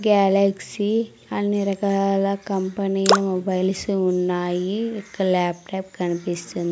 Galaxy అన్ని రకాల company mobiles ఉన్నాయి ఇక్కడ లాప్టాప్ కనిపిస్తుం--